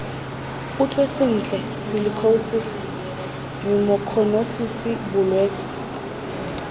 utlwe sentle silikhosisi nyumokhonosisi bolwetse